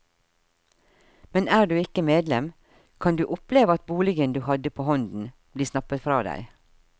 Men er du ikke medlem, kan du oppleve at boligen du hadde på hånden, bli snappet fra deg.